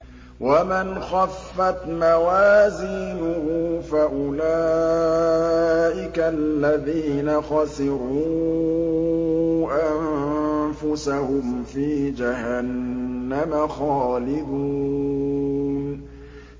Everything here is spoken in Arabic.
وَمَنْ خَفَّتْ مَوَازِينُهُ فَأُولَٰئِكَ الَّذِينَ خَسِرُوا أَنفُسَهُمْ فِي جَهَنَّمَ خَالِدُونَ